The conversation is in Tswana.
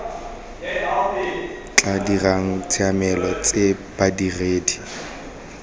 tla dirang ditshiamelo tse badiredi